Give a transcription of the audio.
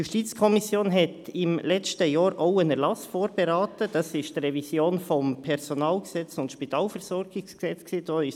Die JuKo beriet im letzten Jahr auch einen Erlass vor, nämlich die Revision des Personalgesetzes (PG) und des Spitalversorgungsgesetzes (SpVG).